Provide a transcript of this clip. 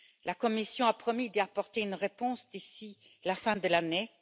La Commission a promis d'y apporter une réponse d'ici la fin de l'année.